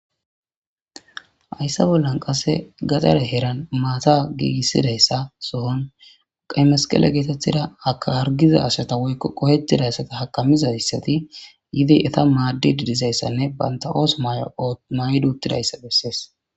Ayssa bollan qasse gaxare heran maata giigissidayssa sohon qemesqele geetettida aka hargiza ashata woykko qohetidayssata hakamizayssati yidi eta maaddidi dizayssanne baynta oos may duuttidayssa bessees